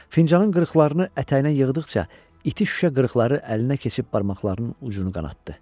Fincanın qırıqlarını ətəyinə yığdıqca iti şüşə qırıqları əlinə keçib barmaqlarının ucunu qanatdı.